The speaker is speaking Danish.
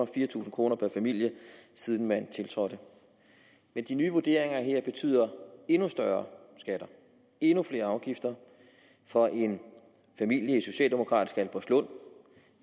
fire tusind kroner per familie siden man tiltrådte men de nye vurderinger her betyder endnu større skatter endnu flere afgifter for en familie i det socialdemokratiske albertslund